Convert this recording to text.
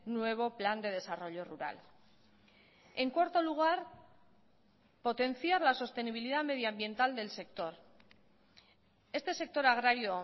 nuevo plan de desarrollo rural en cuarto lugar potenciar la sostenibilidad medioambiental del sector este sector agrario